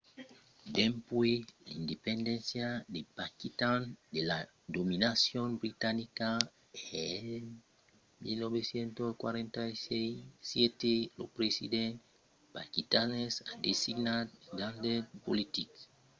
dempuèi l'independéncia de paquitan de la dominacion britanica en 1947 lo president paquistanés a designat d'agents politics per governar la fata que exercisson un contraròtle gaire completament autonòm sus las regions